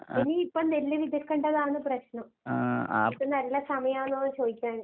എനിക്കിപ്പം നെല്ല് വിതയ്ക്കണ്ടതാണ് പ്രശ്നം. ഇപ്പ നല്ല സമയാണോന്ന് ചോയിക്കാൻ